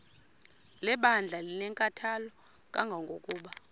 lebandla linenkathalo kangangokuba